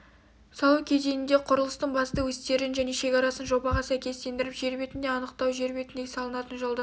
салу кезеңінде құрылыстың басты өстерін және шекарасын жобаға сәйкестендіріп жер бетінде анықтау жер бетіндегі салынатын жолдың